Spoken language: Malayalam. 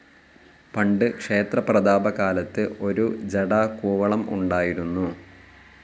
പണ്ട് ക്ഷേത്ര പ്രതാപകാലത്ത് ഒരു ജഡാകൂവളം ഉണ്ടായിരുന്നു.